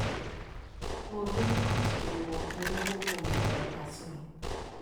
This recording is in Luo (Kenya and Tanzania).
Wuo gi ng'at / riwruok mowuo kuome e otasno